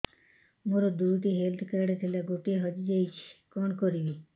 ମୋର ଦୁଇଟି health card ଥିଲା ଗୋଟିଏ ହଜି ଯାଇଛି କଣ କରିବି